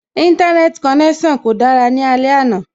Íńtánẹ́ẹ̀tì konẹ́sàn kò dára ní alẹ́ àná